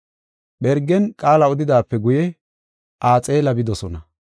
Phergen qaala odidaape guye Axaale bidosona.